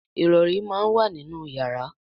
Ìrọ̀rí món wá nínú yàrá